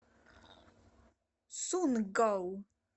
сунггал